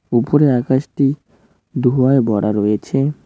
উপরে আকাশটি ধূয়ায় ভরা রয়েছে।